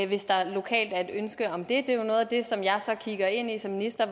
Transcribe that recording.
hvis der lokalt er et ønske om det det er jo noget af det som jeg så kigger ind som minister